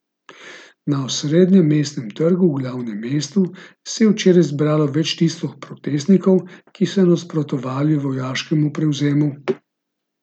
Na osrednjem mestnem trgu v glavnem mestu se je včeraj zbralo več tisoč protestnikov, ki so nasprotovali vojaškemu prevzemu.